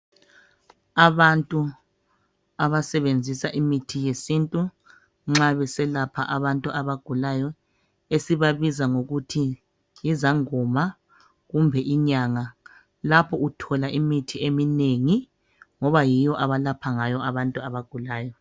Abantu abasebenzisa imithi yesintu nxa beselapha abantu abagulayo esibabiza ngokuthi yizangoma kumbe inyanga lapho uthola imithi eminengi ngoba yiyo abalapha ngayo abantu abagulayo.